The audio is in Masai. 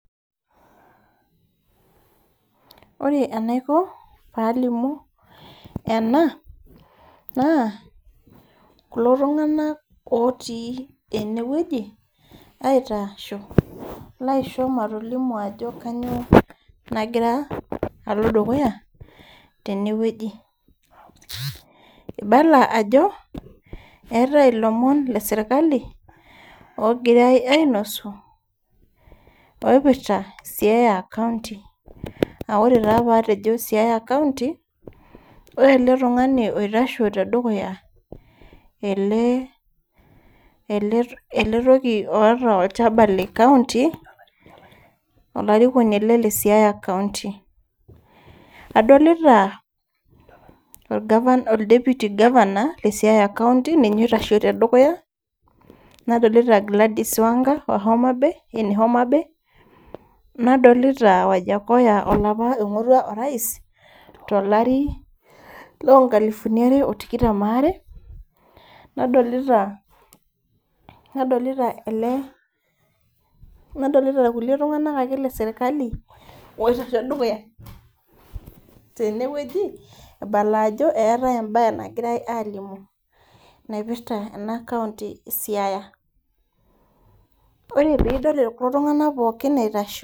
Ore enaiko palimu ena naa kulo tung'anak otii enewueji aitasho laisho matolimu ajo kanyio nagira alo dukuya tenewueji ibala ajo eetae ilomon le sirkali ogirae ainosu oipirta siaya county aore taa patejo siaya county ore ele tung'ani oitasho te dukuya ele ele toki oota olchaba le county olarikoni ele le siaya county adolita ol deputy governor le siaya county itasho tedukuya nadolita Gladys wanga wa homabay ene homabay nadolita Wajakoyah olapa oing'orua orais tolari lonkalifuni are otikitam waare nadolita nadolita ele nadolita kulie tung'anak ake le sirkali oitasho dukuya tenewueji ibala ajo eetae embaye nagirae alimu naipirta ena county e siaya ore piidol kulo tung'anak pookin eitasho.